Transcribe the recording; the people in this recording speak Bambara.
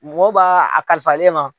Mɔgɔ ba a kalifalen e ma.